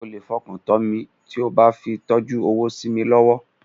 O lè fọkàntán mi tí o bá fi tọ́jú owó sí mi lọ́wọ́.